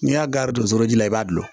N'i y'a gan don foro la i b'a dun